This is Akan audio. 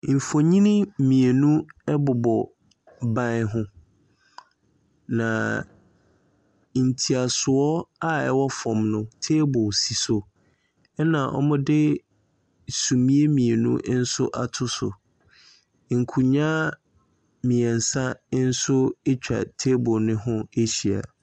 Mfonyini mmienu ɛbobɔ ban ho. Na nteasoɔ a ɛwɔ fam no, table si so. Na wɔde sumiiɛ mmienu nso ato so. Nkonnwa mmiɛnsa nso etwa table no ho ahyia.